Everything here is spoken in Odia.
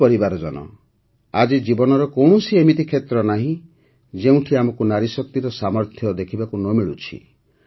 ମୋର ପରିବାରଜନ ଆଜି ଜୀବନର କୌଣସି ଏମିତି କ୍ଷେତ୍ର ନାହିଁ ଯେଉଁଠି ଆମକୁ ନାରୀଶକ୍ତିର ସାମର୍ଥ୍ୟ ଦେଖିବାକୁ ନ ମିଳୁଛି